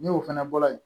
Ni o fana bɔra yen